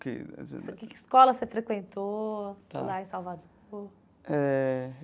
Que. Que escola você frequentou. Tá. Lá em Salvador? Eh.